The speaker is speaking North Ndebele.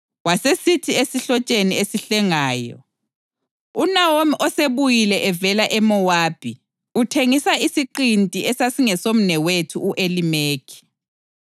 Wasesithi esihlotsheni esihlengayo, “UNawomi osebuyile evela eMowabi uthengisa isiqinti esasingesomnewethu u-Elimeleki.